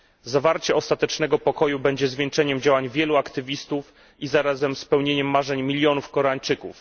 Zawarcie ostatecznego pokoju będzie zwieńczeniem działań wielu aktywistów i zarazem spełnieniem marzeń milionów Koreańczyków.